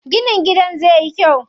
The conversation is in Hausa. Ginin gidan zai yi kyau.